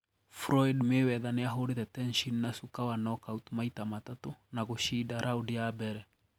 Floyd Mayweather niahũrite Tenshin Nasukawa "knock out" maita matatũ na gushinda raũndi ya mbere.